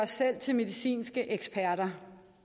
selv til medicinske eksperter